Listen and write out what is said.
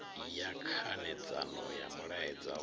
ya khanedzano ya mulaedza wa